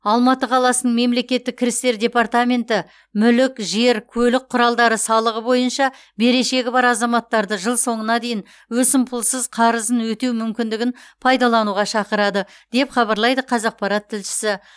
алматы қаласының мемлекеттік кірістер департаменті мүлік жер көлік құралдары салығы бойынша берешегі бар азаматтарды жыл соңына дейін өсімпұлсыз қарызын өтеу мүмкіндігін пайдалануға шақырады деп хабарлайды қазақпарат тілшісі